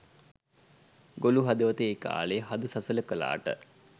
ගොළු හදවත ඒ කාලෙ හද සසල කලාට